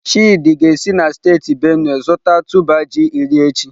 Chidi ga-esi na steeti Benue zụta tuber ji iri echi.